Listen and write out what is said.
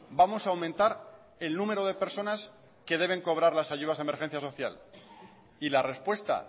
vamos a aumentar el número de personas que deben cobrar las ayudas de emergencia social y la respuesta